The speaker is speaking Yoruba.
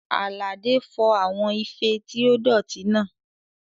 Àlàdé fọ àwọn ife tí ó dọ̀tí náà